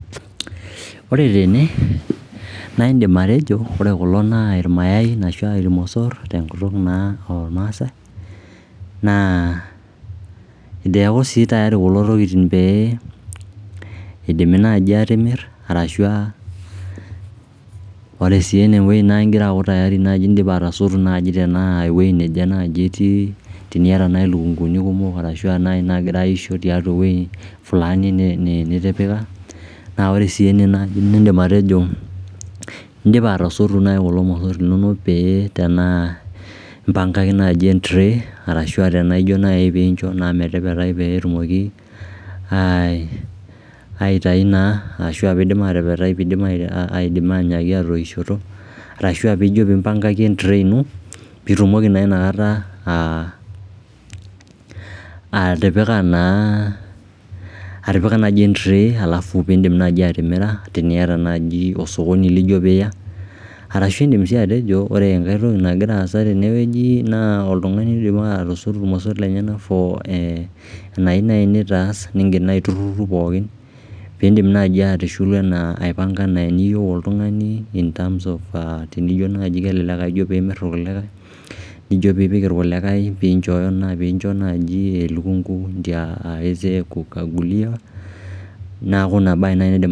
Ore tene naa iindim atejo ore kulo naa ilmosor tenkutuk naa olmaasai naa eitu eaku tayari pee etumokini atimirashu aa ore sii enewuei naa igira aaku tayari indipa atasotu naai teniata nai ilukunguni kumok arashu aa nagira aisho tewuei flani naa ore sii ene nii'dim atejo indipa atasotu naai kulo mosor linonok pee tenaa imbangaki nai entray arashu aah tenijo nai metepetai peetumoki aitainaai ashu atoishoto arashu imbangaki entray ino piitumoki naa atipika piidim atimira teniata naji osokoni lijo piiya arashu iindim sii atejo ore entoki nagira aasa tenwueji naa oltungani oidipa atasotu ilomosor lenyenak fo enayieu nai nitaas naiturhurhu pookin piin'dim nai aipanga enaa eniyieu oltungani tenijo nai kelelek eitayu kulikai nijo pipik ilkulikai piincho naji elukungu ndio aweze kuangulia